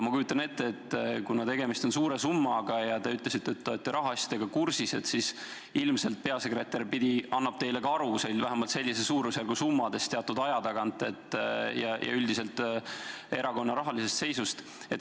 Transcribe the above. Ma kujutan ette, et kuna tegemist on suure summaga ja te ütlesite, et te olete rahaasjadega kursis, siis ilmselt peasekretär annab teile teatud aja tagant ka aru, vähemalt sellise suurusjärgu summadest ja üldiselt erakonna rahalisest seisust.